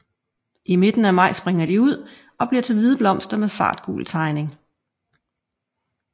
I midten af maj springer de ud og bliver til hvide blomster med sartgul tegning